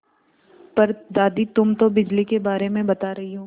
पर दादी तुम तो बिजली के बारे में बता रही हो